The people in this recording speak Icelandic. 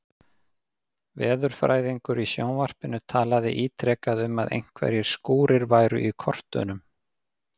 Veðurfræðingur í sjónvarpinu talaði ítrekað um að einhverjir skúrir væru í kortunum.